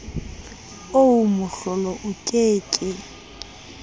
oo mohlolo o ke ke